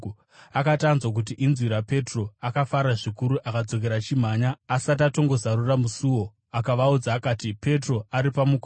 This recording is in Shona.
Akati anzwa kuti inzwi raPetro, akafara zvikuru akadzokera achimhanya asati atongozarura musuo akavaudza akati, “Petro ari pamukova!”